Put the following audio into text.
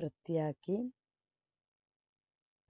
വൃത്തിയാക്കി